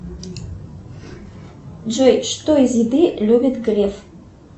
джой что из еды любит греф